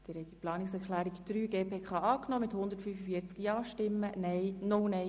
Sie haben die Planungserklärung 3 angenommen.